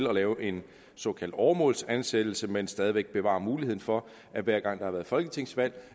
at lave en såkaldt åremålsansættelse men stadig væk bevare muligheden for at hver gang der har været folketingsvalg